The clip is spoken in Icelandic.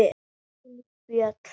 Þín, Fjóla.